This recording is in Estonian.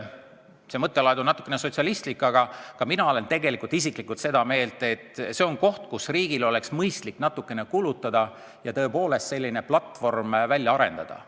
See mõttelaad on natuke sotsialistlik, aga ka mina olen tegelikult isiklikult seda meelt, et see on koht, kus riigil oleks mõistlik natukene kulutada ja tõepoolest selline platvorm välja arendada.